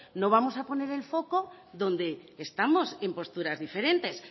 no vamos poner el foco donde estamos en posturas diferentes